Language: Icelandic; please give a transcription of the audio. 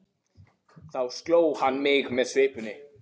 Þá sló hann mig með svipunni.